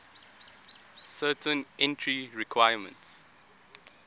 certain entry requirements